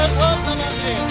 Bayraqlar tammadırıb!